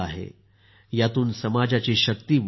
यातून समाजाची शक्ती वाढत असते